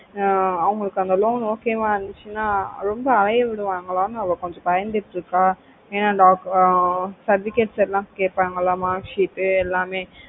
ஆஹ் அவங்களுக்கு அந்த loan okay வ இருந்துச்சின்னா ரொம்ப அலையை விடுவாங்கலா அவ கொஞ்சம் பயந்துட்டு இருக்கு ஏன்னா ஆஹ் certificates எல்லா கேய்ட்டாங்களா marksheet எல்லாமே